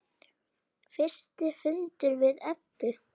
Fyrsti fundur við Eddu.